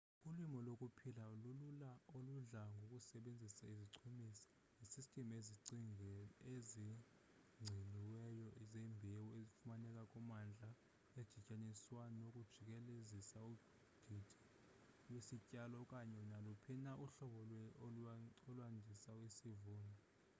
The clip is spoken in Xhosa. ulimo lokuphila lulula oludla ngokusebenzisa izichumisi nesystem ezigciniweyo zembewu efumaneka kummandla edityaniswa nokujikelezisa udidi lwesityalo okanye naluphi na uhlobo ulwandisa isivuno